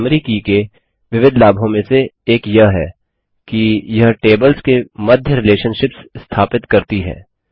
primary की के विविध लाभों में से एक यह है कि यह टेबल्स के मध्य रिलेशनशिप्स स्थापित करती है